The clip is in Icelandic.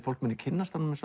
fólk muni kynnast honum með